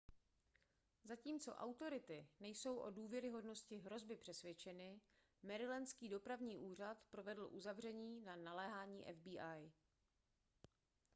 zatímco autority nejsou o důvěryhodnosti hrozby přesvědčeny marylandský dopravní úřad provedl uzavření na naléhání fbi